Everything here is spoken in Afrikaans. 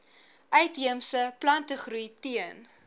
uitheemse plantegroei teen